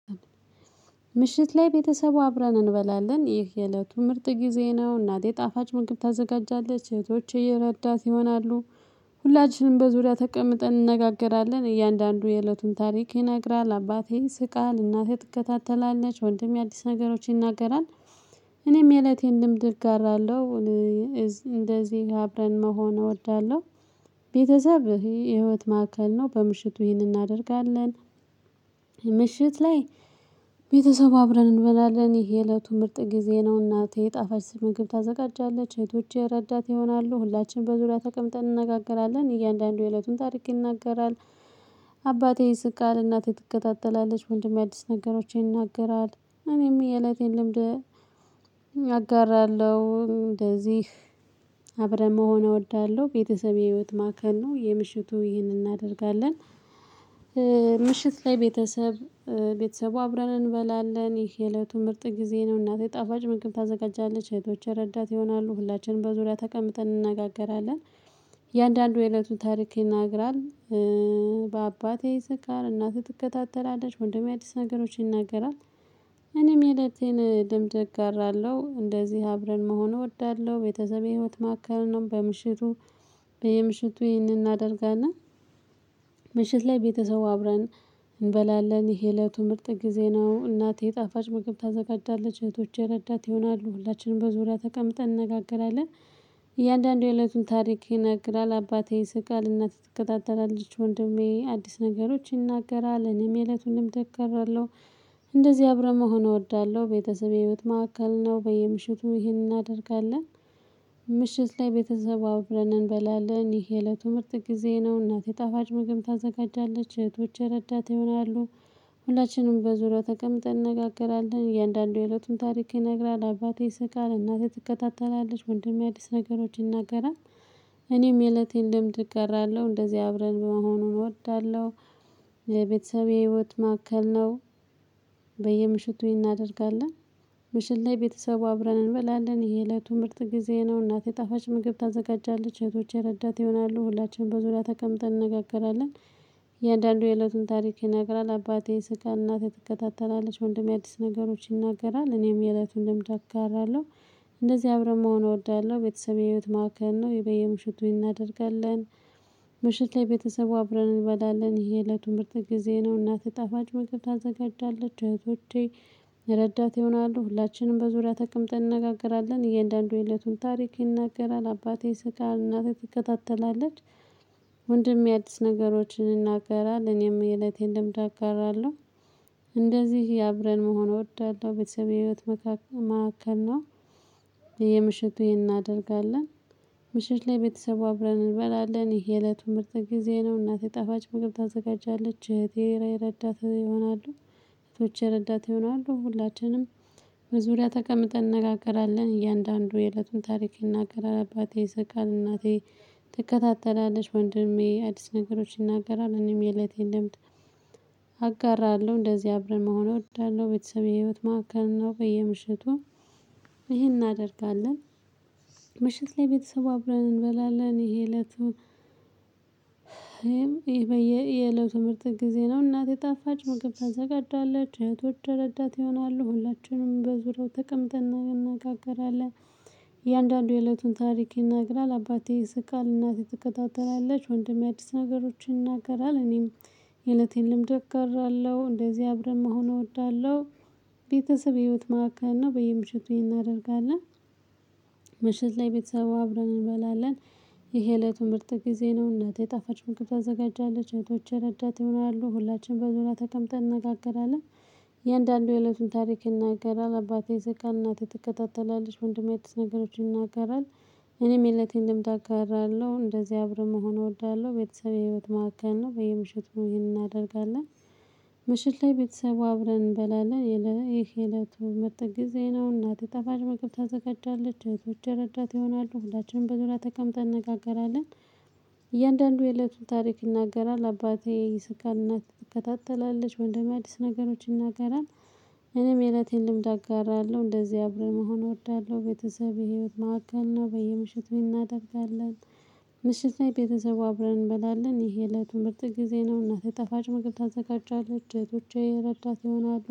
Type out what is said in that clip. ምሽት ላይ ቤተሰቡ አብረን እንበላለን። ይህ የእለቱ ምርጥ ጊዜ ነው። እናቴ ጣፋጭ ምግብ ታዘጋጃለች። እህቶች እየረዳት ይሆናሉ። ሁላችንም በዙሪያ ተቀምጠን እንነጋገራለን። እያንዳንዱ የእለቱን ታሪክ ይነግራል፣ አባቴ ይስቃል፣ እናቴ ትከታተላለች። ወንድሜ አዲስ ነገሮች ይናገራል። እኔም የእለቴን ልምድ እጋራለሁ። እንደዚህ አብረን መሆን እወዳለሁ። ቤተሰብ ይህ የህይወት ማዕከል ነው። በምሽቱ ይህንን እናደርጋለን። ምሽት ላይ ቤተሰብ አብረን እንበላለን። ይሄ የእለቱ ምርጥ ጊዜ ነው። እናቴ ጣፋጭ ምግብ ታዘጋጃለች። እህቶቼ ረዳት ይሆናሉ። ሁላችንም በዙሪያ ተቀምጠን እንነጋገራለን። እያንዳንዱ የእለቱን ታርቅ ይናገራል። አባቴ ስቃል፤ እናቴ ትከታተላለች፤ ወንድሜ አዲስ ነገሮችን ይናገራል። እኔም የእለቴን ልምድ አጋራለሁ። እንደዚህ አብረን መሆን እወዳለሁ። ቤተሰብ የህይወት ማዕከል ነው። የምሽቱ ይህንን እናደርጋለን። ምሽት ላይ ቤተሰብ፣ ቤተሰቡ አብረን እንበላለን። ይሄ የእለቱ ምርጥ ጊዜ ነው፣ እናቴ ጣፋጭ ምግብ ታዘጋጃለች፤ እህቶች ረዳት ይሆናሉ። ሁላችንም በዙሪያ ተቀምጠን እንነጋገራለን። አንዳንዱ የእለቱን ታሪክ ይነግራል። አባቴ ይስቃል፣ እናት ትከታተላለች፣ ወንድሜ አዲስ ነገሮችን ይናገራል። እኔም የለቴን ልምድ አራለሁ። እንደዚህ አብረን መሆን እወዳለሁ። ቤተሰቤ የህይወት ማከል ነው። በምሽቱ በየምሽቱ ይህንን እናደርጋለን። ምሽት ላይ ቤተሰቡ አብረን እንበላለን። ይሄ የእለቱ ምርጥ ጊዜ ነው። እናቴ ጣፋጭ ምግብ ታዘጋጃለች፣ እህቶቼ እረዳት ይሆናሉ፣ ሁላችንም በዙሪያ ተቀምጠን እንነጋገራለን። እያንዳንዱ የእለቱን ታሪክ ይነግራል፣ አባቴ ይስቃል፣ እናት ትከታተላለች፤ ወንድሜ አዲስ ነገሮች ይናገራል፣ እኔም የእለቱን እናገራለሁ። እንደዚህ አብረን መሆን እወዳለሁ። ቤተሰቤ የህይወት ማዕከል ነው። በየምሽቱ ይሄንን እናደርጋለን። ምሽት ላይ ቤተሰብ አብረን እንበላለን። ይሄ ለትምህርት ጊዜ ነው፣ እናቴ የጣፋጭ ምግብ ታዘጋጃለች። እህቶቼ ረዳት ይሆናሉ። ሁላችንም በዙሪያው ተቀምጠን እንነጋገራለን። እያንዳንዱ የእለቱን ታሪክ ይነግራል። አባቴ ይስቃል፣ እናቴ ትከታተላለች፣ ወንድሜ አዲስ ነገሮች ይናገራል። እኔም የእለቴን ልምድ እጋራለሁ። እንደዚህ አብረን በመሆኑን እወዳለሁ። የቤተሰቤ ህይወት ማከል ነው። በየምሽቱ እናደርጋለን። ምሽት ላይ ቤተሰቡ አብረን እንበላለን። ይሄ የእለቱ ምርጥ ጊዜ ነው፤ እናቴ የጣፋጭ ምግብ ታዘጋጃለች፤ እህቶች የረዳት ይሆናሉ። ሁላችንም በዙሪያ ተቀምጠን እንነጋገራለን። እንደአንዱ የእለቱን ታሪክ ይነግራል። አባቴ ይስቃል፣ እናቴ ትከታተላለች፣ ወንድሜ አዲስ ነገሮች ይናገራል፣ እኔም የእለቱን ልምድ አጋራለሁ፤ እንደዚህ አብረን መሆን እወዳለሁ። ቤተሰቤ የህይወት ማዕከል ነው። የበየምሽቱ ይህን እናደርጋለን። ምሽት ላይ ቤተሰቡ አብረን እንበላለን። ይሄ የእለቱ ምርጥ ጊዜ ነው፣ እናት ጣፋጭ ምግብ ታዘጋጃለች። እረዳት ይሆናሉ፤ ሁላችንም በዙሪያ ተቀምጠን እንነጋገራለን። እያንዳንዱ የእለቱን ታሪክ ይናገራል። አባቴ ይስቃል፣ እናቴ ትከታተላለች፣ ወንድሜ አድስ ነገሮችን ይናገራል፣ እኔም የእለቴን ልምድ አጋራለሁ፣ እንደዚህ አብረን መሆን እወዳለሁ። ቤተሰቤ የህይወት መካከል፤ መዕከል ነው። በየምሽቱ ይሄን እናደርጋለን፤ ምሽት ላይ ቤተሰቡ አብረን እንበላለን፤ ይሄ የለቱ ምርጥ ጊዜ ነው፤ እናቴ ጠፋጭ ምግብ ታዘጋጃለች፤ እህቴ እረዳት ይሆናሉ። እህቶች እረዳት ይሆናሉ። ሁላችንም በዙሪያ ተቀምጠን እንነጋገራለን። እያንዳንዱ የእለቱን ታሪክ ይናገራል። አባቴ ይስቃል፣ እናቴ ትከታተላለች፣ ወንድሜ አዲስ ነገሮች ይናገራል፣ እኔም የእለቴን ልምድ አጋራለሁ፤ እንደዚህ አብረን መሆን እወዳለሁ። ቤተሰቤ የህይወት ማዕከል ነው፤ በየምሽቱ ይሄን እናደርጋለን። ምሽት ላይ ቤተሰብ አብረን እንበላለን። ይሄ እለቱን ይሄ የእለቱ ምርጥ ጊዜ ነው፣ እናት የጣፋች ምግብ ታሰጋጃለች፣ እህቶች እረዳት ይሆናሉ፤ ሁላችንም በዙሪያው ተቀምጠን እንነጋገራለን። እያንዳንዱ የእለቱን ታሪክ ይናገራል። አባቴ ይስቃል፣ እናቴ ትከታተላለች፣ ወንድሜ አዲስ ነገሮችን ይናገራል፣ እኔም የእለቴን ልምድ እገራለሁ፣ እንደዚህ አብረን መሆን እወዳለሁ። ቤተሰብ ህይወት ማዕከል ነው፣ በየምሽቱ እናደርጋለን። ምሽት ላይ ቤተሰቡ አብረን እንበላለን፤ ይሄ የእለቱ ምርጥ ጊዜ ነው። እናቴ ጣፋጭ ምግብ ታዘጋጃለች፤ እህቶች እረዳት ይሆናሉ፤ ሁላችንም በዙሪያ ተቀምጠን እንነጋገራለን። እንደአንዱ የእለቱን ታሪክ ይናገራል፣ አባቴ ይስቃል፣ እናቴ ትከታተላለች፣ ወንድሜ አዲስ ነገሮች ይናገራል። እኔም የእለቴን ልምድ አጋራለሁ፣ እንደዚህ አብረን መሆን እወዳለሁ፣ ቤተሰቤ ህይወት ማዕከል ነው፣ በየምሽትይሄንን እናደርጋለን። ምሽት ላይ ቤተሰቡ አብረን እንበላለን፣ ይሄ እለቱ ምርጥ ጊዜ ነው፤ እናቴ ጣፋጭ ምግብ ታዘጋጃለች፣ እህቶች እረዳት ይሆናሉ፣ ሁላችንም በዙሪያ ተቀምጠን እንነጋገራለን። እያንዳንዱ የእለቱን ታሪክ ይናገራል፣ አባቴ ይስቃል፣ ትከታተላለች፣ ወንድም አዲስ ነገሮች ይናገራል። እኔም የእለቴን ልምድ አጋራለሁ፣ እንደዚህ አብረን መሆን እወዳለሁ፣ ቤተሰብ የህይወት ማዕከል ነው፣ በየምሽቱ ይሄን እናደርጋለን፣ ምሽት ላይ ቤተሰቡ አብረን እንበላለን። ይሄ የእለቱን ምርት ጊዜ ነው፣ እናት ጣፋጭ ምግብ ታዘጋጃለች፣ እህቶቼ እረዳት ይሆናሉ።